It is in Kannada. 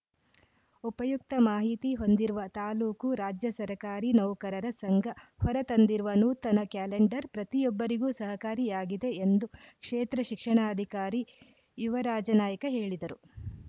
ಉಪಯುಕ್ತ ಮಾಹಿತಿ ಹೊಂದಿರುವ ತಾಲೂಕು ರಾಜ್ಯ ಸರಕಾರಿ ನೌಕರರ ಸಂಘ ಹೊರ ತಂದಿರುವ ನೂತನ ಕ್ಯಾಲೆಂಡರ್‌ ಪ್ರತಿಯೊಬ್ಬರಿಗೂ ಸಹಕಾರಿಯಾಗಿದೆ ಎಂದು ಕ್ಷೇತ್ರ ಶಿಕ್ಷಣಾಧಿಕಾರಿ ಯುವರಾಜನಾಯ್ಕ ಹೇಳಿದರು